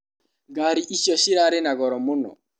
Ngari icio cirarĩ na goro mũno.